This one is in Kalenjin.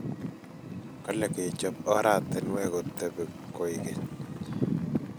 kole kechop oratinwek kotebi koek geny